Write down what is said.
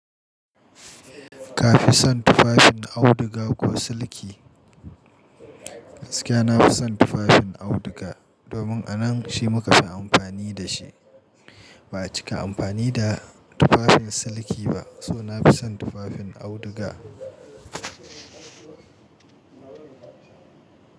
Ka fi son tufafin auduga ko siliki? Gaskiya, na fi son tufafin auduga domin a nan shi muka fi amfani da shi. Ba a cika amfani da tufafin siliki ba so na fi son tufafin auduga.